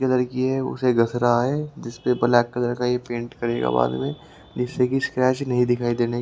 ये लड़की है उसे घस रहा है जिसपे ब्लैक कलर का ये पेंट करेगा बाद में जिससे कि स्क्रैच नहीं दिखाई दे--